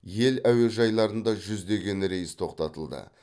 ел әуежайларында жүздеген рейс тоқтатылды